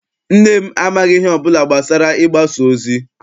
Nne m amaghị ihe ọbụla gbasara Ịgbasa ozi.